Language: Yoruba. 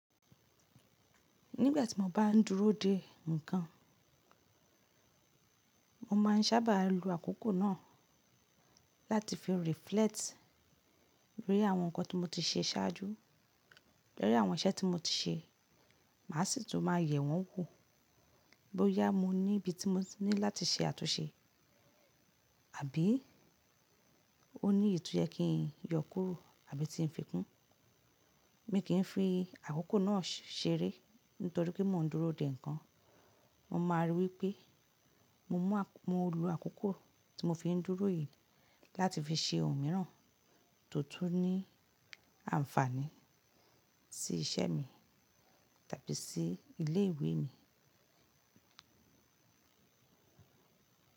Nígbà tí mo bá ń dúró dè nǹkan, mo máa ń sábà lo àkókò náà láti fi reflect rí àwọn nǹkan tí mo ti ṣe ṣáájú. Lórí àwọn iṣẹ́ tí mo ti ṣe, màá sì tún máa yẹ̀ wọ́n wò bóyá mo ní ibi tí mo ní láti ṣe àtúnṣe àbí ó ní èyíì tó yẹ kí n yọ kúrò àbí tí n fi kún. Mi kì í fi àkókò náà ṣeré nítorí pé mò ń dúró dè nǹkan. Mo máa ríi wípé mo mú àkókò, mo lo àkókò tí mo fi ń dúró yìí láti fi ṣe ohun mìíràn, tó tún ní ànfààní sí iṣẹ́ mi tàbí sí ilé ìwé mi.